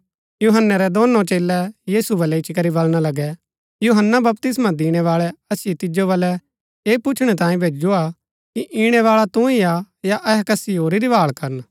यूहन्‍नै रै दोनों चेलै यीशु बलै इच्ची करी बलणा लगै यूहन्‍ना बपतिस्मा दिणैबाळै असिओ तिजो बलै ऐह पुछणै तांई भैजुआ कि ईणैबाळा तू ही हा या अहै कसी होरी री भाळ करन